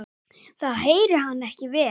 Þá heyrir hann ekki vel.